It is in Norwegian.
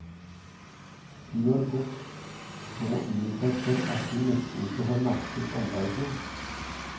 Hun har gått så inn i seg selv at hun nesten ikke har merket omverdenen.